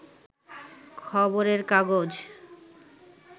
খবরের কাগজ